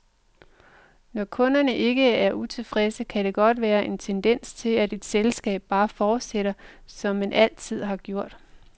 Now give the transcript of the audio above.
Når kunderne ikke er utilfredse, kan der godt være en tendens til, at et selskab bare fortsætter, som man altid har gjort.